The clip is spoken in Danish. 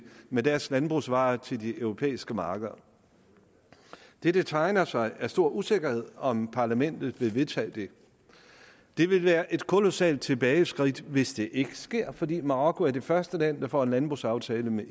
med deres landbrugsvarer til de europæiske markeder det der tegner sig er stor usikkerhed om parlamentet vil vedtage det det ville være et kolossalt tilbageskridt hvis det ikke sker fordi marokko er det første land der får en landbrugsaftale med